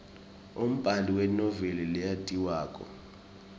umbali wenoveli leyatiwako